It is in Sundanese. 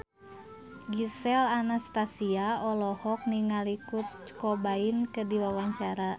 Gisel Anastasia olohok ningali Kurt Cobain keur diwawancara